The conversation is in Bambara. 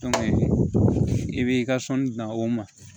i b'i ka sɔnni dan o ma